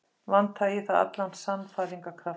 Vantaði í það allan sannfæringarkraft.